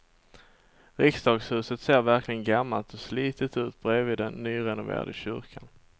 Riksdagshuset ser verkligen gammalt och slitet ut bredvid den nyrenoverade kyrkan.